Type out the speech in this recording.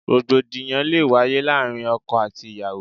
Rògbòdìyàn lé wáyé láàárín ọkọ àti ìyàwó.